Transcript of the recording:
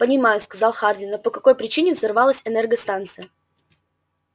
понимаю сказал хардин но по какой причине взорвалась энергостанция